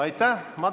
Aitäh!